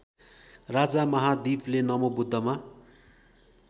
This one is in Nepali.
राजा महादीपले नमोबुद्धमा